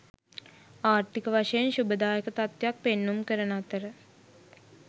ආර්ථික වශයෙන් ශුභදායක තත්ත්වයක් පෙන්නුම් කරන අතර